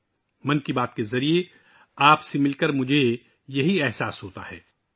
'من کی بات' کے ذریعے آپ سے ملنے کے بعد میں بالکل ایسا ہی محسوس کر رہا ہوں